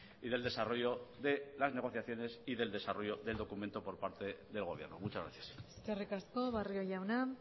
y del desarrollo de las negociaciones y del desarrollo del documento por parte del gobierno muchas gracias eskerrik asko barrio jauna